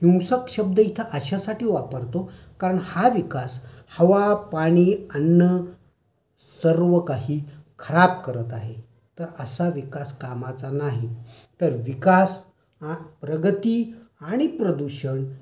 हिंसक शब्द इथे अशासाठी वापरतो कारणं हा विकास हवा, पानी, अन्न सर्वकाही खराब करत आहे. तर असं विकास कामाचा नाही. तर विकास